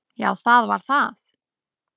Já, það var það.